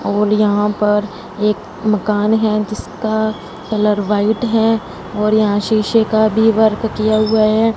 और यहां पर एक मकान है जिसका कलर व्हाइट है और यहां शीशे का भी वर्क किया हुआ है।